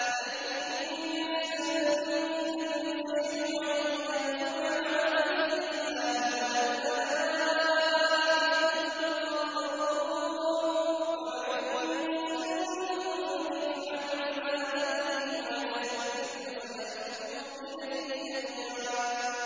لَّن يَسْتَنكِفَ الْمَسِيحُ أَن يَكُونَ عَبْدًا لِّلَّهِ وَلَا الْمَلَائِكَةُ الْمُقَرَّبُونَ ۚ وَمَن يَسْتَنكِفْ عَنْ عِبَادَتِهِ وَيَسْتَكْبِرْ فَسَيَحْشُرُهُمْ إِلَيْهِ جَمِيعًا